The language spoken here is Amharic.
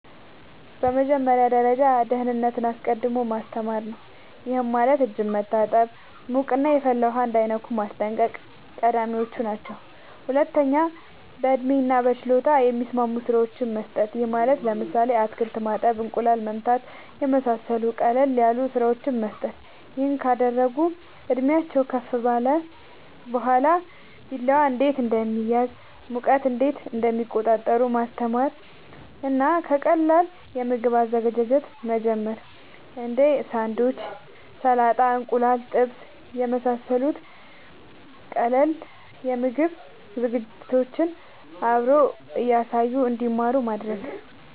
በመጀመሪያ ደረጃ ደህንነትን አስቀድሞ ማስተማር ነዉ ይሄም ማለት እጅን መታጠብ ሙቅና የፈላ ውሃ እንዳይነኩ ማስጠንቀቅ ቀዳሚወች ናቸው ሁለተኛ በእድሜና በችሎታ የሚስማሙ ስራወችን መስጠት ይሄም ማለት ለምሳሌ አትክልት ማጠብ እንቁላል መምታት የመሳሰሉት ቀለል ያሉ ስራወችን መስጠት ይሄን ካደረጉ እድሜአቸውም ከፍ ካለ በኋላ ቢላዋ እንዴት እንደሚያዝ ሙቀት እንዴት እንደሚቆጣጠሩ ማስተማር እና ከቀላል የምግብ አዘገጃጀት መጀመር እንዴ ሳንዱች ሰላጣ እንቁላል ጥብስ የመሳሰሉት ቀላል የምግብ ዝግጅቶችን አብሮ እያሳዩ እንድማሩ ማድረግ